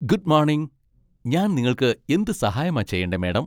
Good morning! ഞാൻ നിങ്ങൾക്ക് എന്ത് സഹായമാ ചെയ്യെണ്ടേ മാഡം?